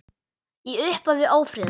Í upphafi ófriðar